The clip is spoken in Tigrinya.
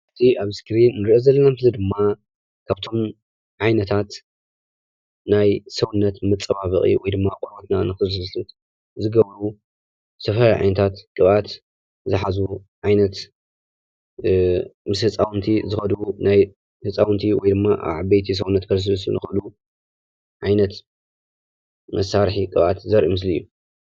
እዚ ኣብ እስክሪን ንሪኦ ዘለና ምስሊ ድማ ካብቶም ዓይነታት ናይ ሰውነት መፀባበቒ ወይ ድማ ቆርበትና ንኽልስልስ ዝገብሩ ዝተፈላለዩ ዓይነታት ቅብኣት ዝሓዙ ዓይነት ምስ ህፃውንቲ ዝኸዱ ናይ ህፃውንቲ ወይ ድማ ኣብ ዓበይቲ ተፅእኖ ዝፍፅሙ ዓይነት መሳርሒ ቅብኣት ዘርኢ ምስሊ እዩ፡፡